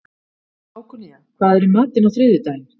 Hákonía, hvað er í matinn á þriðjudaginn?